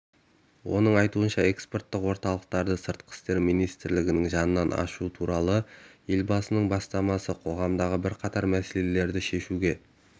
оның айтуынша экспорттық орталықты сыртқы істер министрлігі жанынан ашу туралы елбасының бастамасы қоғамдағы бірқатар мәселелерді шешуге